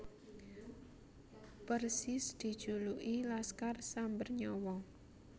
Persis dijuluki Laskar Samber Nyawa